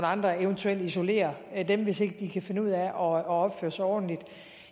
andre eventuelt isolere dem hvis ikke de kan finde ud af at opføre sig ordentligt